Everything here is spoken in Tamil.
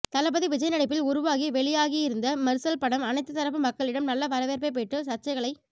தளபதி விஜய் நடிப்பில் உருவாகி வெளியாகி இருந்த மெர்சல் படம் அனைத்து தரப்பு மக்களிடம் நல்ல வரவேற்பை பெற்று சர்ச்சைகளை